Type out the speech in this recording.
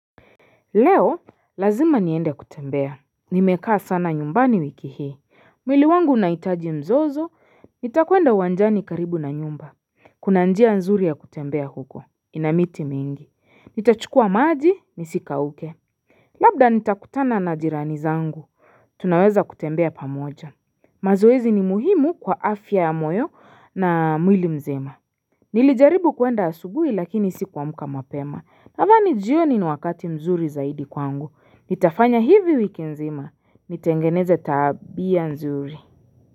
Leo, lazima niende kutembea. Nimekaa sana nyumbani wiki hii. Mwili wangu unahitaji mzozo. Nitakwenda uwanjani karibu na nyumba. Kuna njia nzuri ya kutembea huko. Inamiti mingi. Nitachukua maji, nisikauke. Labda nitakutana na jirani zangu. Tunaweza kutembea pamoja. Mazoezi ni muhimu kwa afya ya moyo na mwili mzima. Nilijaribu kuenda asubuhi lakini sikuamka mapema. Kama ni jioni ni wakati mzuri zaidi kwangu. Nitafanya hivi wiki nzima. Nitengeneze tabia mzuri.